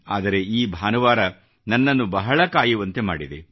ಆದರೆ ಈ ಭಾನುವಾರ ನನ್ನನ್ನು ಬಹಳ ಕಾಯುವಂತೆ ಮಾಡಿದೆ